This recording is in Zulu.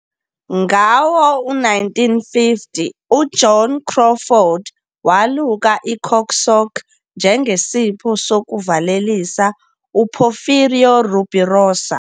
Ngawo-1950 uJoan Crawford waluka i- "cock sock" njengesipho sokuvalelisa uPorfirio Rubirosa.